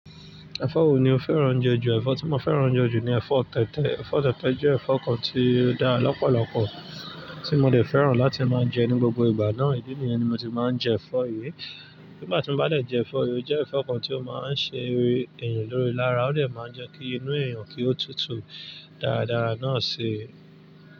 Ẹ̀fọ́ wo ni o fẹ́ràn jẹ ju? Èfó tí mo féràn je jù ni èfó tètè ẹ̀fọ́ tẹ̀tẹ jẹ́ ẹ̀fọ́ kan tí ó dára lọ́pọ̀lọpọ̀, tí mo ò dè fẹ́ràn láti máa ń jẹ ní gbogbo ìgbà náà. Ídì nìyẹn ni mo ti máa ń jẹ ẹ̀fọ́ yìí. Nígbà tí mo bá lè jẹ ẹ̀fọ́ yìí, ó jẹ́ ẹ̀fọ́ kan tí ó máa ń ṣe eré ẹ̀yàn lórí lára. Ó dè máa ń jẹ́ kí inú ẹ̀yàn kí ó tutù dáradára náà ṣe.